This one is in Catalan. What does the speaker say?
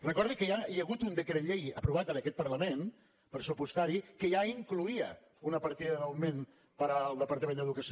recordi que ja hi ha hagut un decret llei aprovat en aquest parlament pressupostari que ja incloïa una partida d’augment per al departament d’educació